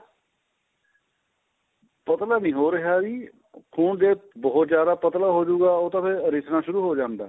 ਪਤਲਾ ਨਹੀਂ ਹੋ ਰਿਹਾ ਜੀ ਖੂਨ ਦੇ ਬਹੁਤ ਜਿਆਦਾ ਪਤਲਾ ਹੋਜੂਗਾ ਉਹ ਤਾਂ ਫ਼ਿਰ ਰਿਸਣਾ ਸ਼ੁਰੂ ਹੋ ਜਾਂਦਾ ਏ